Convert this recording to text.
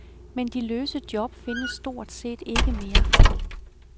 Men de løse job findes stort set ikke mere.